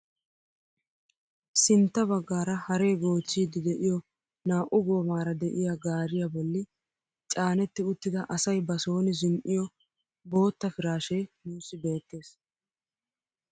Sintta baggaara haree goochchiidi de'iyoo naa"u goomara de'iyaa gaariyaa bolli caanetti uttida asay ba soni zin"iyoo bootta piraashshee nuusi beettees!